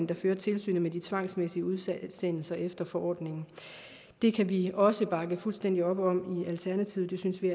der fører tilsynet med de tvangsmæssige udsendelser efter forordningen det kan vi også bakke fuldstændig op om i alternativet det synes vi